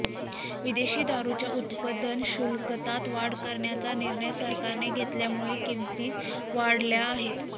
विदेशी दारुच्या उत्पादन शुल्कात वाढ करण्याचा निर्णय सरकारने घेतल्यामुळे किमती वाढल्या आहेत